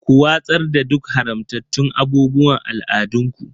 Ku watsar da duk haramtattun abubuwan al'adunku.